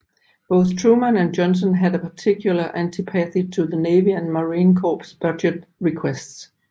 Both Truman and Johnson had a particular antipathy to Navy and Marine Corps budget requests